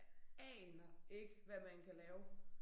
Jeg aner ikke hvad man kan lave